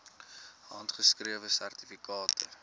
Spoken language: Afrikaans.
handgeskrewe sertifikate